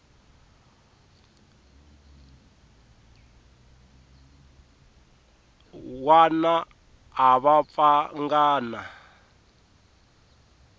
wana a va pfanga na